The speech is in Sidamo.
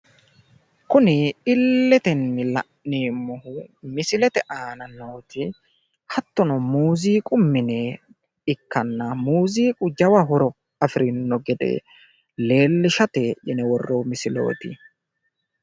kuni illetenni la'neemmohu misilete aana nooti hattono muuziqu mine ikkanna muuziqu jawa horo afirino gede leellishate yine worroonni misileeti.